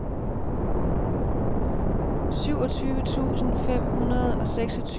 syvogtyve tusind fem hundrede og seksogtyve